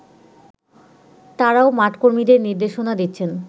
তারাও মাঠকর্মীদের নির্দেশনা দিচ্ছেন